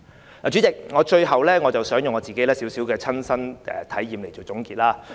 代理主席，最後，我想以自己的親身體驗作總結。